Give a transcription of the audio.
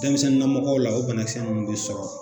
Denmisɛnnamɔgɔw la o banakisɛ ninnu bɛ sɔrɔ